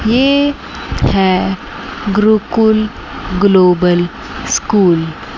ये है Gurukul global school --